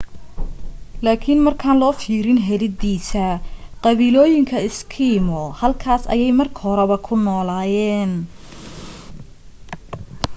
laakin markaan loo fiirin helidiisa qabiilooyinka eskimo halkaas ayay marka horeba ku noolayeen